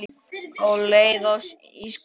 Á leið í skóla.